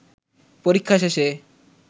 পরীক্ষা শেষে